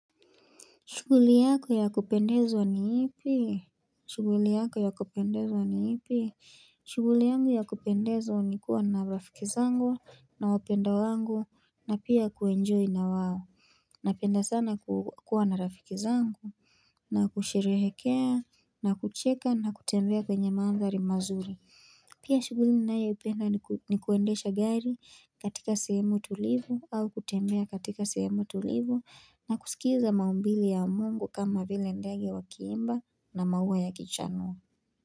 Shughuli yako ya kupendeza ni ipi? Shughuli yako ya kupendeza ni ipi? Shughuli yangu ya kupendezwa ni kuwa na rafiki zangu na wapendwa wangu na pia kuenjoy na wao. Napenda sana kuwa na rafiki zangu na kusherehekea na kucheka na kutembea kwenye maandari mazuri. Pia shughuli ninayoipenda ni kuendesha gari katika sehemu tulivu au kutembea katika sehemu tulivu na kusikiza maumbili ya mungu kama vile ndege wakiimba na maua ya kichanuo.